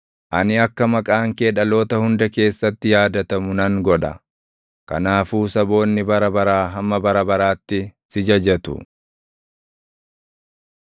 Ani akka maqaan kee dhaloota hunda keessatti yaadatamu nan godha; kanaafuu saboonni bara baraa hamma bara baraatti si jajatu.